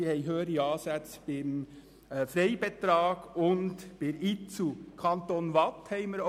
Beim Freibetrag und bei der IZU sind die Ansätze höher.